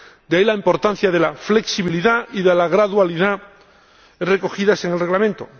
de ahí la importancia de la flexibilidad y de la gradualidad recogidas en el Reglamento.